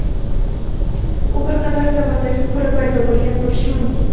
u bir qator sabablarga ko‘ra paydo bo‘lgan bo‘lishi mumkin.